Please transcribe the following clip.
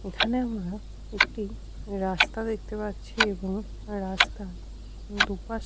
এখানে আমরা একটি রাস্তা দেখতে পাচ্ছি এবং রাস্তা দুপাশে --